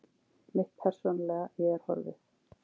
Mitt persónulega ég er horfið.